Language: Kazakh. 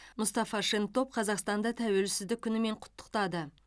мұстафа шентоп қазақстанды тәуелсіздік күнімен құттықтады